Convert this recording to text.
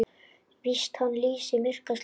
Víst hann lýsir myrka slóð.